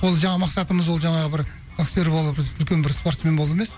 ол жаңағы мақсатымыз ол жаңағы бір боксер болу біз үлкен бір спортсмен болу емес